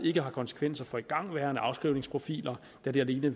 ikke har konsekvenser for igangværende afskrivningsprofiler da det alene